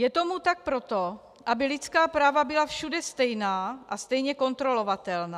Je tomu tak proto, aby lidská práva byla všude stejná a stejně kontrolovatelná.